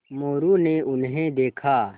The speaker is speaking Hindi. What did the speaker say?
मोरू ने उन्हें देखा